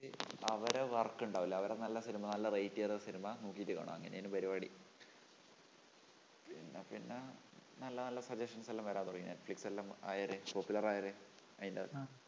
എന്നിട്ട് അവരുടെ work ഉണ്ടാവില്ലേ? അവരുടെ നല്ല സിനിമ നല്ല rate ചെയ്ത സിനിമ നോക്കീട്ട് കാണും. അങ്ങനെയാണ് പരിപാടി. പിന്നെ പിന്നെ നല്ല നല്ല suggestions എല്ലാം വരാൻ തുടങ്ങി. netflix എല്ലാം ആയൊരു popular ആയൊരു അതിന്റെ ആ